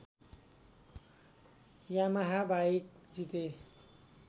Yamaha bike जिते